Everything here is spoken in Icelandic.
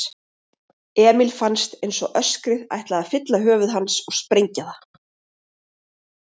Emil fannst einsog öskrið ætlaði að fylla höfuð hans og sprengja það.